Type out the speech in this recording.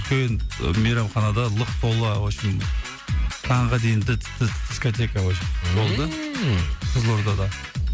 үлкен мейрамханада лық тола в общем таңға дейін дискотека в общем болды ммм қызылордада